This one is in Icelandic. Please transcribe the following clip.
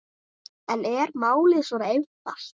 En er málið svo einfalt?